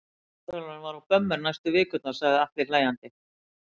Sjúkraþjálfarinn var á bömmer næstu vikurnar, segir Atli hlæjandi.